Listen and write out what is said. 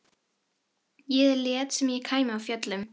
Ég lét sem ég kæmi af fjöllum.